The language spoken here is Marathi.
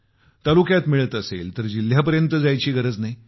तालुक्यात मिळत असेल तर जिल्ह्यापर्यंत जायची गरज नाही